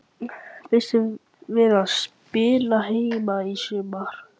Býstu við að spila heima í sumar?